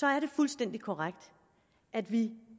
er det fuldstændig korrekt at vi